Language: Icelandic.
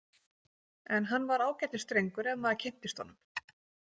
En hann var ágætis drengur ef maður kynntist honum.